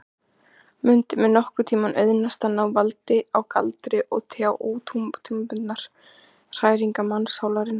Mundi mér nokkurntíma auðnast að ná valdi á galdri orðsins og tjá ótímabundnar hræringar mannssálarinnar?